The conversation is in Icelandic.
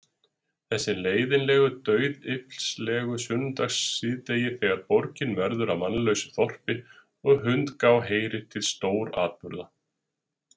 Þessi leiðinlegu dauðyflislegu sunnudagssíðdegi, þegar borgin verður að mannlausu þorpi, og hundgá heyrir til stóratburða.